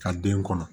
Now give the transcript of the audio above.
Ka den kɔnɔ